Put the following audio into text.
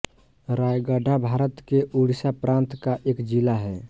रायगढा भारत के उड़ीसा प्रान्त का एक जिला है